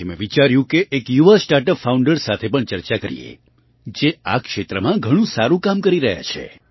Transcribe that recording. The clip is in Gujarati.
આથી મેં વિચાર્યું કે એક યુવા સ્ટાર્ટ અપ ફાઉન્ડર સાથે પણ ચર્ચા કરીએ જે આ ક્ષેત્રમાં ઘણું સારું કામ કરી રહ્યા છે